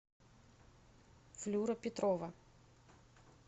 флюра петрова